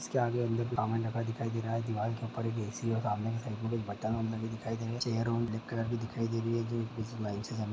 इसके आगे हमें दिखाई दे रहा दीवाल के ऊपर एक ऐ_सी है और समने चैर और --